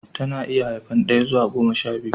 Ta na iya haifan daya zuwa goma sha biyu